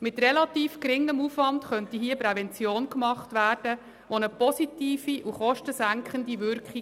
Hier könnte mit relativ geringem Aufwand Prävention gemacht werden, und zwar mit einer positiven und kostensenkenden Wirkung.